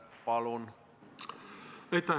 Palun!